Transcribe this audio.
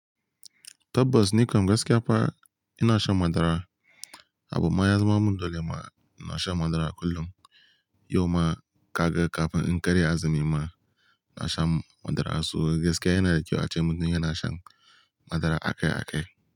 Tabbas, ni kam gaskiya fa ina shan madara. Abun ma ya zama mundole ma ina shan madara kullum. Yau ma ka ga kafin in karya azumi ma na sha madara. So gaskiya yana da kyau a ce mutum yana shan madara akai-akai.